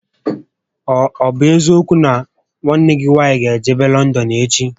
Ọ bụ eziokwu nà nwanne gị nwaanyị gá ejebe Lọndọn echi?